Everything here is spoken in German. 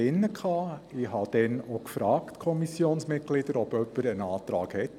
Ich habe die Kommissionsmitglieder gefragt, ob jemand einen Antrag stellt.